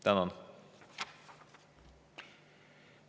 Tänan!